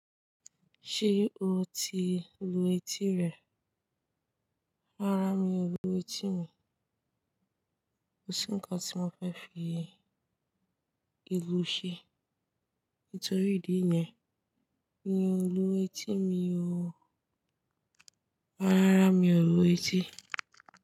Ṣé o ti lu etí rẹ? Rárá mi ò lu etí mi. Kò sí ǹkan tí mo fẹ́ fi lilu ṣe. Nítorí ìdí yẹn, mí ò lu etí mi o. Rárá, mi ò lu etí.